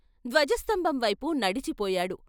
ధ్వజస్తంభం వైపు నడిచిపోయాడు.